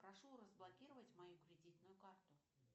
прошу разблокировать мою кредитную карту